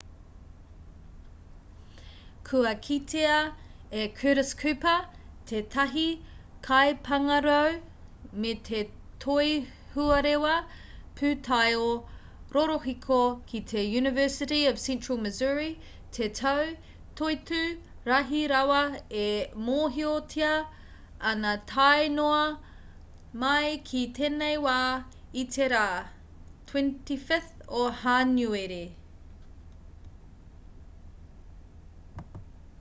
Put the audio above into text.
kua kitea e curtis cooper tētahi kaipāngarau me te toihuarewa pūtaiao rorohiko ki te university of central missouri te tau toitū rahi rawa e mōhiotia ana tae noa mai ki tēnei wā i te rā 25 o hānuere